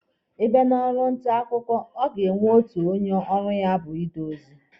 Ị bịa na ọrụ nta akwụkwọ, a ga-enwe onye ọrụ ya bụ ide ozi.